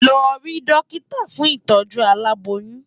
Lò ri dòkitá fún itòjú àlábóyùn